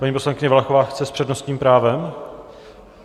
Paní poslankyně Valachová chce s přednostním právem?